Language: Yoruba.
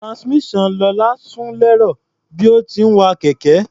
Transmission Lọlá sún lẹ́rọ̀ bí ó ti ń wa kẹ̀kẹ́.